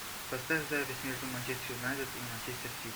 поставь запись между манчестер юнайтед и манчестер сити